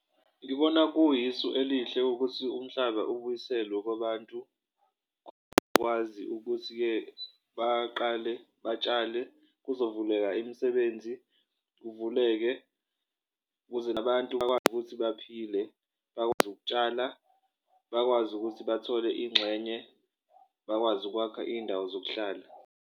Ngibona kuyisu elihle ukuthi umhlaba ubuyiselwe kwabantu kwazi ukuthi-ke baqale batshale kuzovuleka imisebenzi, kuvuleke kuze nabantu bakwazi ukuthi baphile, bakwazi ukutshala, bakwazi ukuthi bathole inxenye, bakwazi ukwakha iy'ndawo zokuhlala.